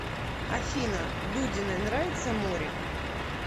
афина дудиной нравится море